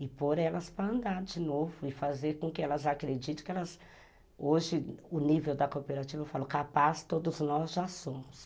E pôr elas para andar de novo e fazer com que elas acreditem que elas... Hoje, o nível da cooperativa, eu falo, capaz todos nós já somos.